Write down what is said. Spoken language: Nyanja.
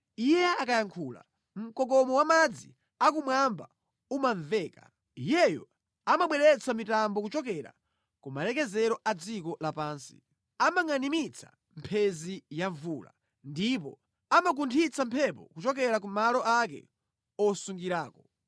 Iye akayankhula, kumamveka mkokomo wamadzi akumwamba; Iyeyo amabweretsa mitambo kuchokera ku malekezero a dziko lapansi. Amabweretsa mphenzi pamodzi ndi mvula ndi kutulutsa mphepo yamkuntho kumalo kumene osungirako.